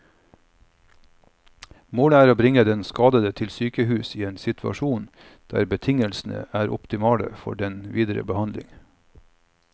Målet er å bringe den skadede til sykehus i en situasjon der betingelsene er optimale for den videre behandling.